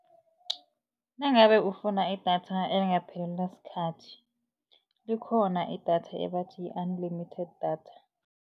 Nangabe ufuna idatha elingaphelelwa sikhathi likhona idatha ebathi yi-unlimited datha.